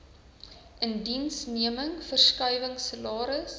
indiensneming verskuiwing salaris